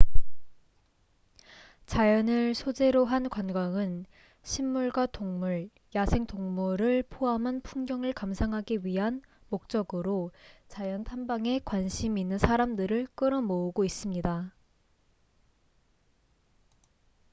자연을 소재로 한 관광은 식물과 동물 야생동물을 포함한 풍경을 감상하기 위한 목적으로 자연 탐방에 관심이 있는 사람들을 끌어모으고 있습니다